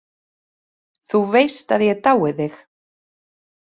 Þú veist að ég dái þig.